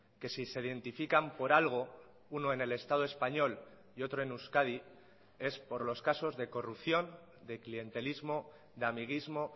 que si se identifican por algo uno en el estado español y otro en euskadi es por los casos de corrupción de clientelismo de amiguismo